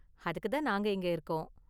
அதுக்கு தான் நாங்க இங்க இருக்கோம்.